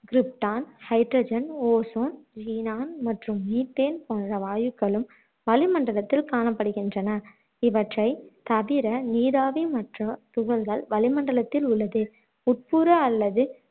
krypton, hydrogen, ozone, xenon மற்றும் methane போன்ற வாயுக்களும் வளிமண்டலத்தில் காணப்படுகின்றன இவற்றை தவிர நீராவி மற்றும் துகள்கள் வளிமண்டலத்தில உள்ளது உட்புற அல்லது